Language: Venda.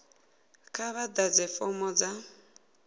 kha vha ḓadze fomo dza